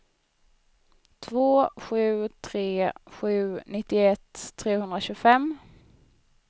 två sju tre sju nittioett trehundratjugofem